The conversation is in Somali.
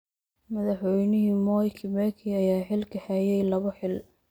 Madaxweyne Mwai Kibaki ayaa xilka hayay labo xilli.